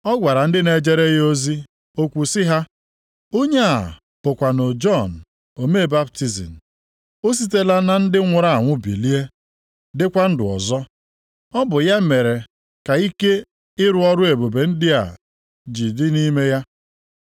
Ọ gwara ndị na-ejere ya ozi okwu sị ha, “Onye a bụkwanụ Jọn omee baptizim. O sitela na ndị nwụrụ anwụ bilie dịkwa ndụ ọzọ. Ọ bụ ya mere ike ịrụ ọrụ ebube ndị a ji dị nʼime ya.”